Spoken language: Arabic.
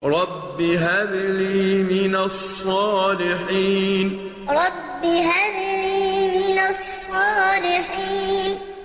رَبِّ هَبْ لِي مِنَ الصَّالِحِينَ رَبِّ هَبْ لِي مِنَ الصَّالِحِينَ